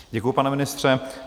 Děkuji, pane ministře.